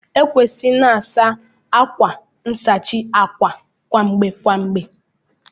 Ekwesịrị ị na-asa akwa nsachi àkwà kwa mgbe kwa mgbe